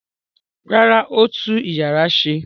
Rárá, ó tú ìyàrá ṣe.